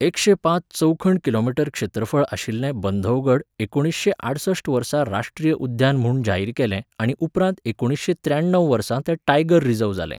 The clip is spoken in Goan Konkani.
एकशें पांच चौखण किलोमीटर क्षेत्रफळ आशिल्लें बंधवगड एकुणीसशें आडसश्ट वर्सा राश्ट्रीय उद्यान म्हूण जाहीर केलें आनी उपरांत एकुणीसशें त्र्याण्णव वर्सा तें टायगर रिझर्व्ह जालें.